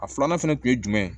A filanan fɛnɛ kun ye jumɛn ye